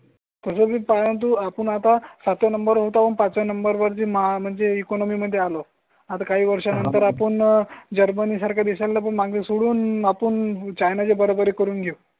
तसंही परंतु आपण आता सात या नंबर होतं. पाचव्या नंबर वरती म्हणजे इकॉनॉमी मध्ये आलो. आता काही वर्षानंतर आपण जर्मनी सारखा देशनला पण मागे सोडून आपण चायना चे बरोबर करून घेऊ.